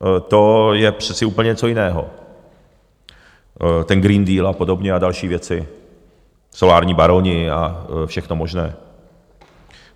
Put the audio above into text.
To je přece úplně něco jiného ten Green Deal a podobně a další věci, solární baroni a všechno možné.